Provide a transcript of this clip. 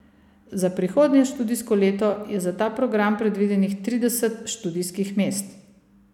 Za prihodnje študijsko leto je za ta program predvidenih trideset študijskih mest.